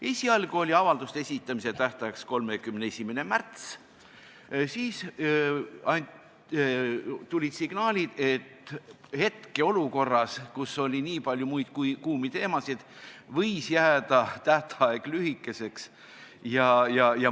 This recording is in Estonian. Esialgu oli avalduste esitamise tähtajaks 31. märts, siis aga tulid signaalid, et hetkeolukorras, kus oli nii palju muid kuumi teemasid, võis see tähtaeg jääda lühikeseks.